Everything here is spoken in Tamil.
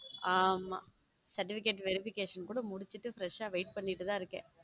ஆம certificate verification கூட முடிச்சிட்டு fresh ஆ wait பண்ணிட்டு தான் இருக்கேன்.